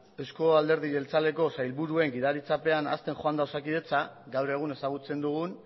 euzko alderdi jeltzaleko sailburuen gidaritzapean hazten joan da osakidetza gaur egun ezagutzen dugun